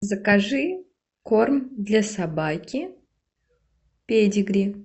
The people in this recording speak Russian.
закажи корм для собаки педигри